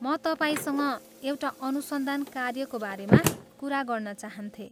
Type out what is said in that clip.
म तपाईँसँग एउटा अनुसन्धान कार्यको बारेमा कुरा गर्न चाहन्थेँ।